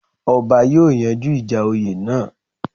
Ọba yóòyanjú ìjà oyè náà